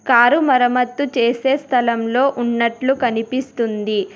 Car మరమ్మత్తు చేసే స్థలంలో ఉన్నట్లు కనిపిస్తుంది.